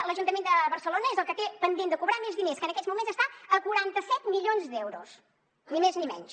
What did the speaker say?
l’ajuntament de barcelona és el que té pendent de cobrar més diners que en aquests moments està a quaranta set milions d’euros ni més ni menys